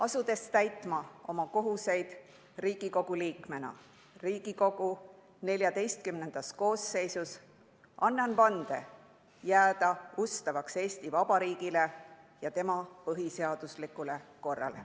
Asudes täitma oma kohuseid Riigikogu liikmena Riigikogu XIV koosseisus, annan vande jääda ustavaks Eesti Vabariigile ja tema põhiseaduslikule korrale.